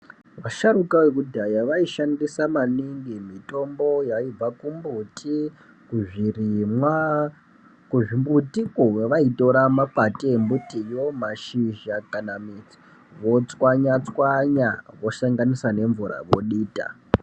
Vasharuka vekudhaya vaishandisa maningi mitombo yaibva kumbuti, kuzvirimwa. Kuzvimbutikwo vaitora makwati embutiyo, mashizha kana midzi votswanya-tswanya vosanganisa nemvura vodita.